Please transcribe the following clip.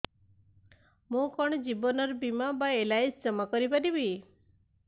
ମୁ କଣ ଜୀବନ ବୀମା ବା ଏଲ୍.ଆଇ.ସି ଜମା କରି ପାରିବି